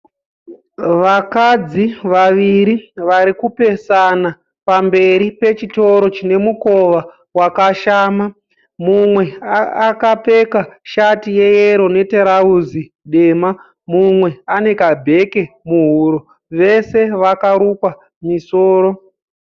Vakadzi vaviri vari kupesana pamberi pechitoro chine mukowa wakashama. Mumwe akapfeka shati yeyero netirauzi dema. Mumwe ane kabheke muhuro. Vese vakarukwa misoro.